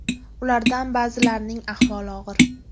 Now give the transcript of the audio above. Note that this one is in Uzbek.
Ulardan ba’zilarining ahvoli og‘ir.